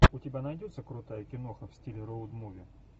у тебя найдется крутая киноха в стиле роуд муви